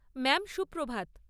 Ma'am, Suprabhat.